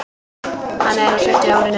Hann er á sjötta árinu.